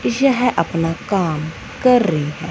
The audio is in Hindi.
यह अपना काम कर रही--